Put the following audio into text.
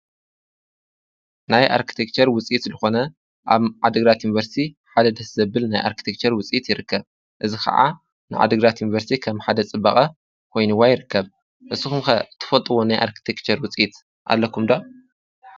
ናይ ኣርክቴክችር ውፂት ልኾነ ኣብ ዓደግራት እንበርቲ ሓደ ደስ ዘብል ናይ ኣርክቴክችር ውፂት ይርከብ። እዝ ኸዓ ንዓደግራት እንበርሲ ከም ሓደ ጽበቐ ኮይኑዋ ይርከብ እስ ኹምከ ትፈጥዎ ናይ ኣርክቴክችር ውፂት ኣለኩምዶ?